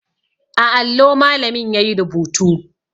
A allo malamin yayi rubutu